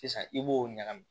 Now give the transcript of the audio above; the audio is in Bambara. Sisan i b'o ɲagami